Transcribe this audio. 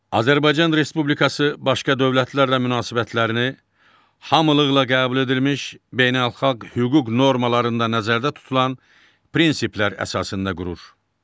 Azərbaycan Respublikası başqa dövlətlərlə münasibətlərini hamılıqla qəbul edilmiş beynəlxalq hüquq normalarında nəzərdə tutulan prinsiplər əsasında qurur.